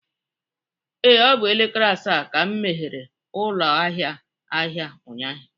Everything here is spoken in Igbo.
Ee, ọ bụ n'elekere asaa ka m meghere ụlọ ahịa ahịa ụnyaahụ